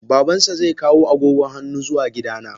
Babansa zai kawo agogon hannu zuwa gidana.